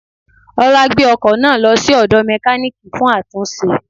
Ọlá gbé ọkò náà lọ sí òdò mékáníìkì fún àtúnṣe